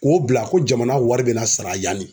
K'o bila ko jamana wari bena sara yan ne